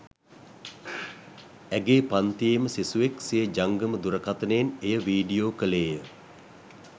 ඇගේ පන්තියේම සිසුවෙක් සිය ජංගම දුරකථනයෙන් එය වීඩියෝ කෙළේය